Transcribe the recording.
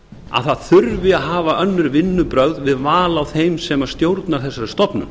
að það þurfi að hafa önnur vinnubrögð við val á þeim sem stjórna þessari stofnun